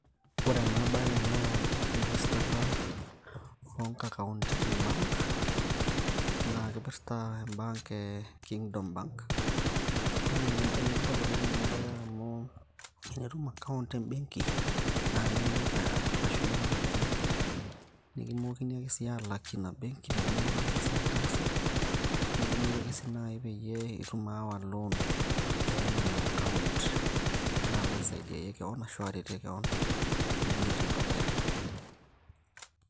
ore enabaye naa enkirijistata onkakaunti tem bank naa kipirrta em bank e kingdom bank naa enetipat oleng ena baye amu enitum account embenki naa kaimok ashumie iropiyiani nikimookini ake sii alakie ina benk teneeku itaasa esiai nitaasa nidimai ake si naaji itum aawa loan ayayie ina account nilo alo aisaidiayie kewon ashu iretie kewon piilotie dukuya.